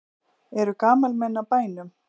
Eru gamalmenni á bænum?